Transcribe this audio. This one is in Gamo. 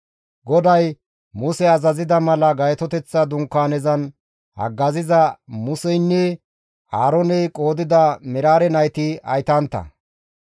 GODAY Muse azazida mala Gaytoteththa Dunkaanezan haggaziza Museynne Aarooney qoodida Meraare nayti haytantta.